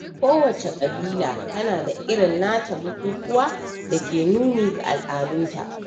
Kowace ƙabila tana da irin nata bukukuwa da ke nuni ga al'adunta.